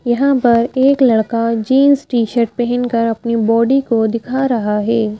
यहां पर एक लड़का जीन्स टी-शर्ट पहनकर अपनी बॉडी को दिखा रहा है ।